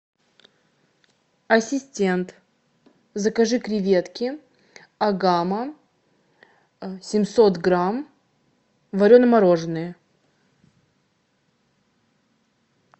ассистент закажи креветки агама семьсот грамм варено мороженые